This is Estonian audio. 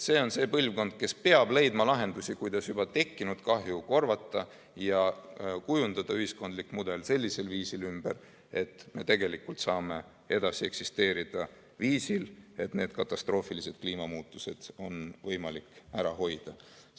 See on see põlvkond, kes peab leidma lahendusi, kuidas juba tekkinud kahju korvata ja kujundada ühiskondlik mudel sellisel viisil ümber, et me tegelikult saame edasi eksisteerida viisil, et katastroofilised kliimamuutused on võimalik ära hoida.